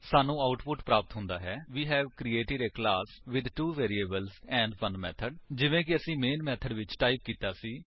ਸਾਨੂੰ ਆਉਟਪੁਟ ਪ੍ਰਾਪਤ ਹੁੰਦਾ ਹੈ we have created a class with 2 variables and 1 method ਜਿਵੇਕਿ ਅਸੀਂ ਮੇਨ ਮੇਥਡ ਵਿੱਚ ਟਾਈਪ ਕੀਤਾ ਸੀ